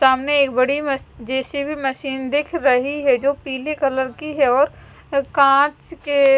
सामने एक बड़ी मस जे_सी_बी मशीन दिख रही है जो पीले कलर की है और काच के--